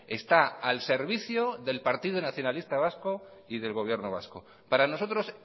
está al servicio del partido nacionalista vasco y del gobierno vasco para nosotros